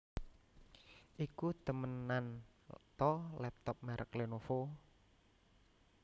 Iku temenan ta laptop merek Lenovo?